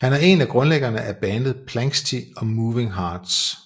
Han er en af grundlæggerne af bandet Planxty og Moving Hearts